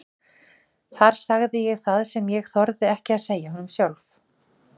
Þar sagði ég það sem ég þorði ekki að segja honum sjálf.